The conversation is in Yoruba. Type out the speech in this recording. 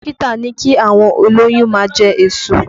Dókítà ní kí àwọn olóyún máa jẹ èso